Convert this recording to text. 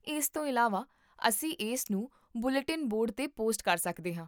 ਇਸ ਤੋਂ ਇਲਾਵਾ, ਅਸੀਂ ਇਸਨੂੰ ਬੁਲੇਟਿਨ ਬੋਰਡ 'ਤੇ ਪੋਸਟ ਕਰ ਸਕਦੇ ਹਾਂ